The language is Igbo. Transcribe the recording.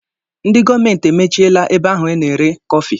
Ndi gọọmenti e mechiela ebe ahu a na eri kofi.